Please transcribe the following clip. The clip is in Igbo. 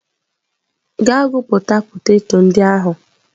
Gaa gwupụta poteto ndị ahụ!.